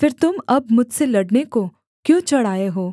फिर तुम अब मुझसे लड़ने को क्यों चढ़ आए हो